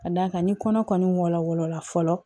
Ka d'a kan ni kɔnɔwara fɔlɔ